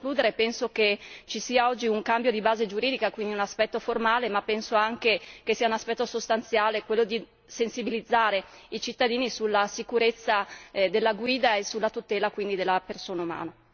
Per concludere, penso che ci sia oggi un cambio di base giuridica, quindi un aspetto formale, ma penso anche che sia un aspetto sostanziale quello di sensibilizzare i cittadini sulla sicurezza della guida e sulla tutela quindi della persona umana.